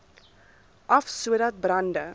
af sodat brande